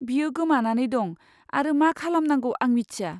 बियो गोमानानै दं आरो मा खालामनांगौ आं मिथिया।